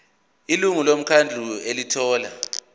ilungu lomkhandlu elithola